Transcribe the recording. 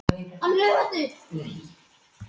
Þetta er eins og í dagdraumunum hennar.